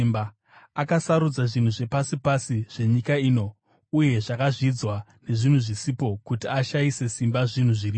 Akasarudza zvinhu zvepasi pasi zvenyika ino uye zvakazvidzwa, nezvinhu zvisipo, kuti ashayise simba zvinhu zviripo,